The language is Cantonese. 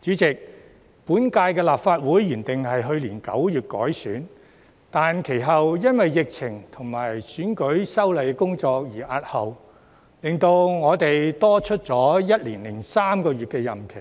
主席，本屆立法會原定於去年9月改選，但其後因為疫情及選舉法例的修訂工作而押後，令我們多了1年零3個月任期，